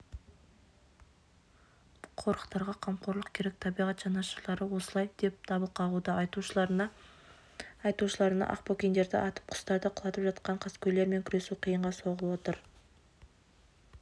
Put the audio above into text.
қорықтарға қамқорлық керек табиғат жанашырлары осылай деп дабыл қағуда айтуларынша ақбөкендерді атып құстарды құлатып жатқан қаскөйлермен күресу қиынға соғып отыр